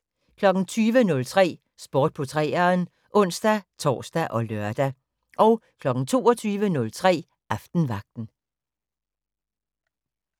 20:03: Sport på 3'eren (ons-tor og lør) 22:03: Aftenvagten